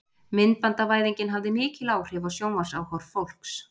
Myndbandavæðingin hafði mikil áhrif á sjónvarpsáhorf fólks.